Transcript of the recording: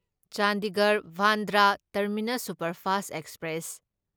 Chandigarh Bandra terminus superfast express